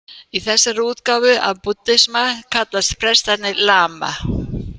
Í þessari útgáfu af búddisma kallast prestarnir lama.